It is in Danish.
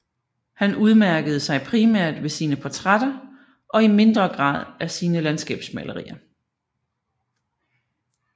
Han udmærkede sig primært ved sine portrætter og i mindre grad af sine landskabsmalerier